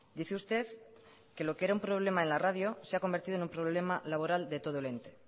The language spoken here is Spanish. dice usted que lo que era un problema en la radio se ha convertido en un problema laboral de todo el ente